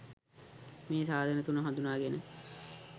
මේ සාධක තුන හඳුනාගෙන